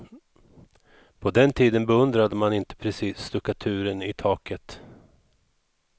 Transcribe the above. På den tiden beundrade man inte precis stuckaturen i taket.